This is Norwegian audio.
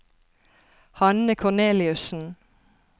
Hanne Korneliussen